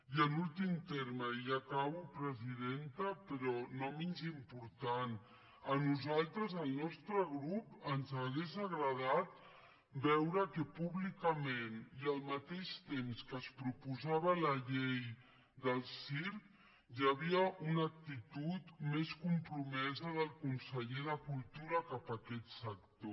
i en últim terme i ja acabo presidenta però no menys important a nosaltres al nostre grup ens hauria agradat veure que públicament i al mateix temps que es proposava la llei del circ hi havia una actitud més compromesa del conseller de cultura cap a aquest sector